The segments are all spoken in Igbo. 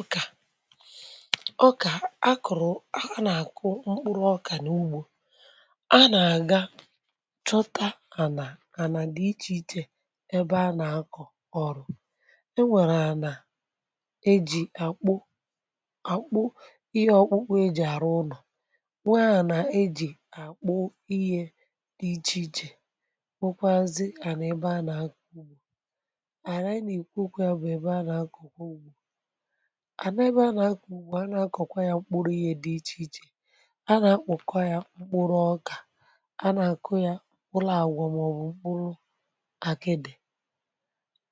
ọkà ọkà a kọ̀rọ̀ a nà-àkụ mkpụrụ ọkà n’ùgbò a nà-àga chọta ànà, ànà dị iche iche ebe a nà-akọ̀ ọ̀rụ̀. E nwèrè ànà ejì àkpụ àkpụ ihe ọkpụkpụ eji àrụ ụ̀nụ, nwe à nà-ejì àkpụ ihe dị iche iche. Nwekwazị ànà ebe a nà-akọ̀ ànà ebe anyị nà-èkwu okwu, ya bụ ebe a nà-akọ̀ ànà ebe a nà-akù, a nà-akọ̀kwa ya mkpụrụ ihe dị iche iche, a nà-akpụ̀kọwa ya mkpụrụ ọkà. A nà-àkụ ya mkpụrụ àgwà màọbụ̀ mkpụrụ àkịdị̀,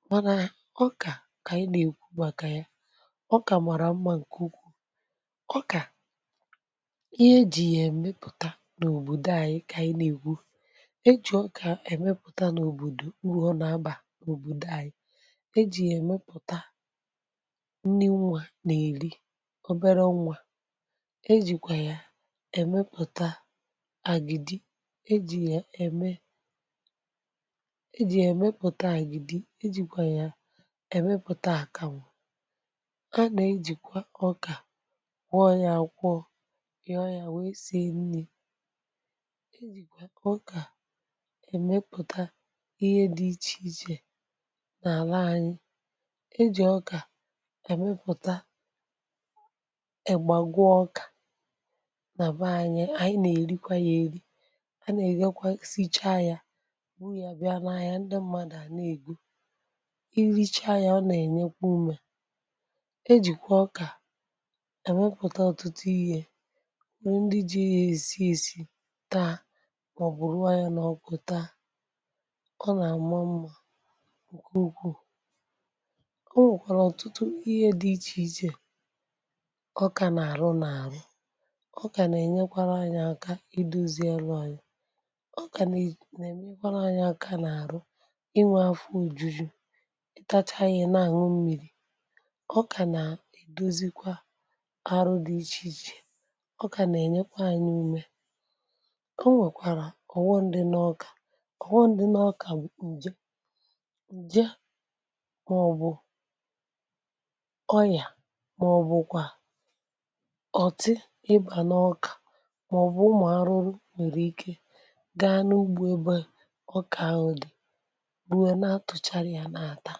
mànà ọkà kà a nà-èkwu màkà ya. Ọkà màrà mma nke ukwu̇, ọkà ihe ejì ya-èmepụ̀ta n’òbòdò anyị. Kà ị nà-èkwu, e jì ọkà a èmepụ̀ta n’òbòdò, urù ọ nà-abà òbòdò anyị̇. E jì ya-èmepụ̀ta nni nwa na-eri, oberọ nwa. E jìkwà ya èmepụ̀ta àgìdì, e jì ya ème e jì ya èmepụ̀ta àgìdì. E jìkwà ya èmepụ̀ta àkàmụ̀. A nà-ejìkwa ọkà kwọ ya, kwụọ, nyoo ya wėė sìe nni. E jìkwà ọkà èmepụ̀ta ihe dị iche iche n’àla anyị. Ejì ọkà emepụ̀ta ị̀gbàgwà ọkà nà be anyị. Ànyị nà-èrikwa ya eri, a nà-èghekwa, sịchaa ya, buru ya bịa n’ahịa. Ndị mmadụ a nà-ègo, irichaa ya, ọ nà-ènyekwa ume. E jìkwà ọkà èmepụ̀ta ọ̀tụtụ ihe ndị ji ya èsi ėsì taa màọbụ̀ ruo yà n’ọkụ taa. Ọ nà-àma mma nke ukwu o nwèrèkwara ọtụtụ ihe dị iche iche ọkà nà-àrụ n’àrụ. Ọkà nà-ènyekwa anyị aka idozi alụ́anya. Ọkà nà-ènyekwa anyị aka n’àrụ ịnwė afọ ojuju. Ị tacha ya, ị na-àñwụ mmiri. Ọkà nà-èdozikwa àrụ dị iche iche. Ọkà nà-ènyekwa anyị ume. Ọ nwèkwàrà ọròghòm dị n’ọkà. Ọròghòm dị n’ọkà, ǹje nje màọbụ̀ onyìà màọbụ̀kwa ọ̀tị ịbà n’ọkà. Màọbụ̀ ụmụ̀ arụrụ nwèrè ike gaa n’ùgbò ebe ọkà ahụ̀ dị̀, buru ya, na-atụ̀chàrà ya n’átà.